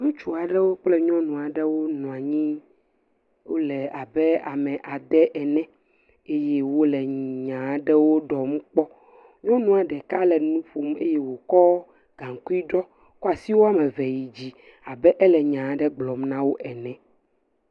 Ŋutsu aɖewo kple nyɔnu aɖewo nɔ anyi. Wo le abe ame ade ene eye wo le nya aɖewo ɖɔmu kpɔ. Nyɔnua ɖek le nu ƒom eye wokɔ gaŋkui ɖɔ, kɔ asi wɔme eve yid zi abe ele nya aɖe gblɔm na wo ene.